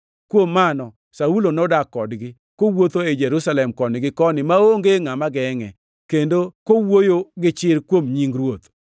Kuom mano, Saulo nodak kodgi, kowuotho ei Jerusalem koni gi koni maonge ngʼama gengʼe, kendo kowuoyo gi chir kuom nying Ruoth.